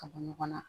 Ka bɔ ɲɔgɔn na